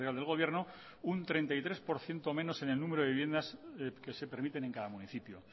del gobierno un treinta y tres por ciento menos en el número de viviendas que se permiten en cada municipio